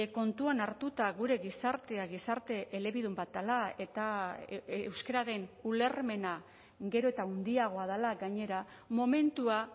kontuan hartuta gure gizartea gizarte elebidun bat dela eta euskararen ulermena gero eta handiagoa dela gainera momentua